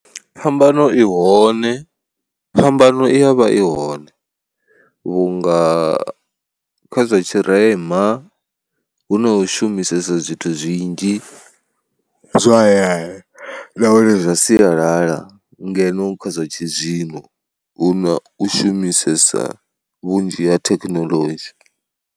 Phambano i hone, phambano i ya vha i hone vhunga kha zwa tshirema hu no shumisesa zwithu zwinzhi zwa hayani nahone zwa sialala ngeno kha zwa tshizwino hu na u shumisesa vhunzhi ha thekinoḽodzhi.